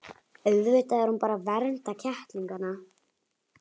Auðvitað er hún bara að vernda kettlingana.